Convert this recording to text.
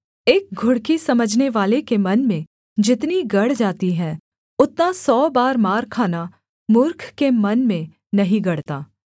एक घुड़की समझनेवाले के मन में जितनी गड़ जाती है उतना सौ बार मार खाना मूर्ख के मन में नहीं गड़ता